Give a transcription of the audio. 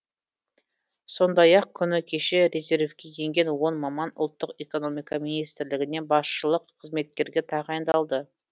сондай ақ күні кеше резервке енген он маман ұлттық экономика министрлігіне басшылық қызметтерге тағайындалды